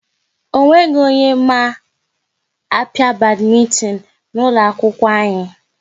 Ọ nweghị onye ma a pịa badmintin n'ụlọ akwụkwọ anyị